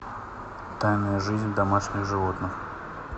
тайная жизнь домашних животных